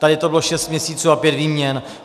Tady to bylo 6 měsíců a pět výměn.